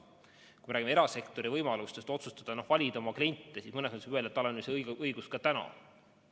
Kui me räägime erasektori võimalustest valida oma kliente, siis mõnes mõttes võib öelda, et see õigus on praegu olemas.